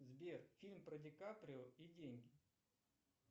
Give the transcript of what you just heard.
сбер фильм про ди каприо и деньги